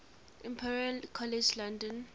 imperial college london